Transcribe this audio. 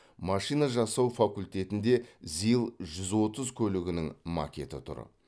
машина жасау факультетінде зил жүз отыз көлігінің макеті тұр